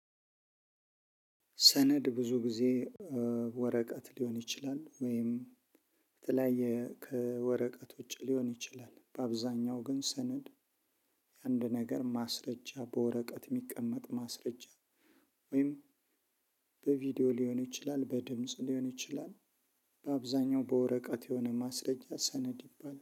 ሰነድ ብዙ ጊዜ ወረቀት ሊሆን ይችላል ወይም በተለያየ ከወረቀት ውጪ ሊሆን ይችላል በአብዛኛው ግን ሰነድ። አንድ ነገር ማስረጃ በወረቀት የሚቀመጥ ማስረጃ ወይም በቪዲዮ ሊሆን ይችላል በድምጽ ሊሆን ይችላል። በአብዛኛው በወረቀት የሆነ ማስረጃ ሰነድ ይባላል